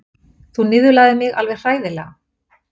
Þú niðurlægðir mig alveg hræðilega.